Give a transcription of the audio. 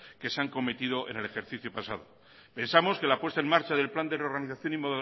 que se han cometido en el ejercicio pasado pensamos que la puesta en marcha del plan de reorganización y